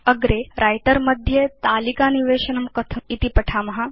अग्रे व्रिटर मध्ये तालिकानिवेशनं कथम् इति वयं पठेम